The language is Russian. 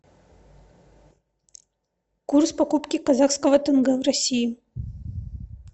курс покупки казахского тенге в россии